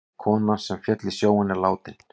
Konan sem féll í sjóinn látin